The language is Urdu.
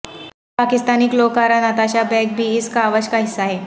پاکستانی گلوکارہ نتاشہ بیگ بھی اس کاوش کا حصہ ہیں